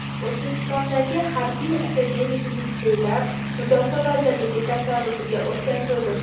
O‘zbekistondagi harbiy akademik litseylar mudofaa vazirligi tasarrufiga o‘tkazildi.